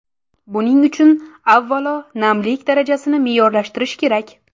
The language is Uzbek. Buning uchun, avvalo, namlik darajasini me’yorlashtirish kerak.